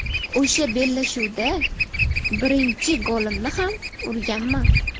O‘sha bellashuvda birinchi golimni ham urganman.